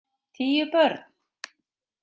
Tíu börn.